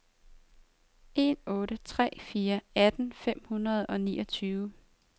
en otte tre fire atten fem hundrede og niogtyve